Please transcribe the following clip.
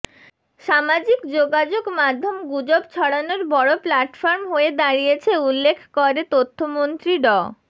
সামাজিক যোগাযোগ মাধ্যম গুজব ছড়ানোর বড় প্লাটফর্ম হয়ে দাঁড়িয়েছে উল্লেখ করে তথ্যমন্ত্রী ড